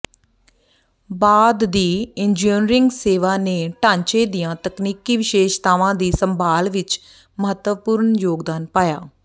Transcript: ਬਾਅਦ ਦੀ ਇੰਜੀਨੀਅਰਿੰਗ ਸੇਵਾ ਨੇ ਢਾਂਚੇ ਦੀਆਂ ਤਕਨੀਕੀ ਵਿਸ਼ੇਸ਼ਤਾਵਾਂ ਦੀ ਸੰਭਾਲ ਵਿਚ ਮਹੱਤਵਪੂਰਨ ਯੋਗਦਾਨ ਪਾਇਆ